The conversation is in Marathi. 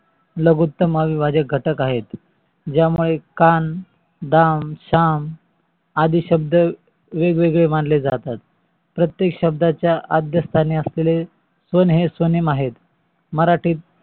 लघुत्तम अविवाजित घटक आहेत. ज्यामुळे कान, दाम, साम आदि शब्द वेगवेगळे मानले जातात. प्रतेक शब्दा च्या आग्य स्तानी असलेले स्वने हे स्वनेम आहेत.